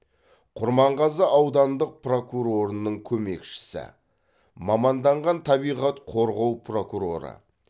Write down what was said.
құрманғазы аудандық прокурорының көмекшісі маманданған табиғат қорғау прокуроры